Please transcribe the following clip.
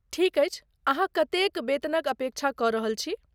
ठीक अछि, अहाँ कतेक वेतनक अपेक्षा कऽ रहल छी?